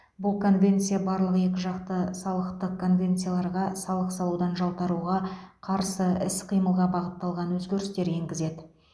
бұл конвенция барлық екіжақты салықтық конвенцияларға салық салудан жалтаруға қарсы іс қимылға бағытталған өзгерістер енгізеді